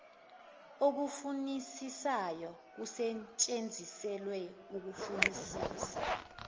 okufunisisayo kusetshenziselwa ukufunisisa